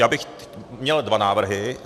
Já bych měl dva návrhy.